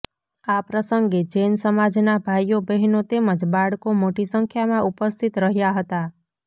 આ પ્રસંગે જૈન સમાજના ભાઇઓ બહેનો તેમજ બાળકો મોટી સંખ્યામાં ઉપસ્થિત રહ્યાં હતા